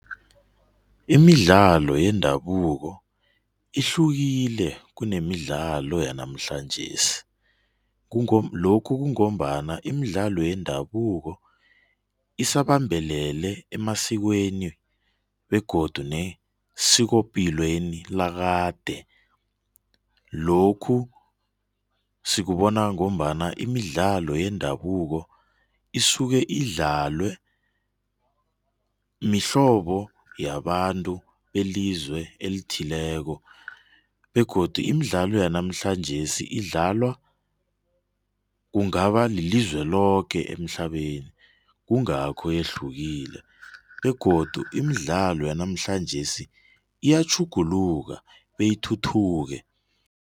Imidlalo yendabuko ihlukile kunemidlalo yanamhlanjesi. Lokhu kungombana imidlalo yendabuko isabambelele emasikweni begodu nesikopilweni lakade. Lokhu sikubona ngombana imidlalo yendabuko isike idlalwe mihlobo yabantu belizwe elithileko begodu imidlalo yanamhlanjesi idlalwa kungaba lelizwe loke emhlabeni, kungakho yehlukile begodu imidlalo yanamhlanjesi iyatjuguluka beyithuthuke.